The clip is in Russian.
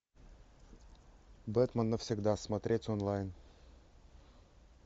бэтмен навсегда смотреть онлайн